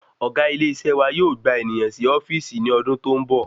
ọ̀gá ile isé wa yóò gba ènìyàn sì ofíìsì ni ọdún tó ń bọ̀